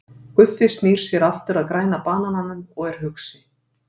Guffi snýr sér aftur að Græna banananum og er hugsi.